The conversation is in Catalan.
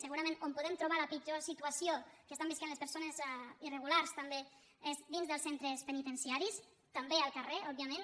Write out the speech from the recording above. segurament on podem trobar la pitjor situació que es·tan vivint les persones irregulars també és dins dels centres penitenciaris també al carrer òbviament